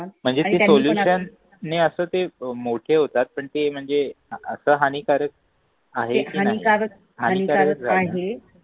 म्हणजे सोल्युशन असतं ते अं मोठे होतात पण तें म्हणजे आता हानिकारक आहे कि नाही